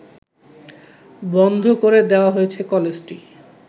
বন্ধ করে দেওয়া হয়েছে কলেজটি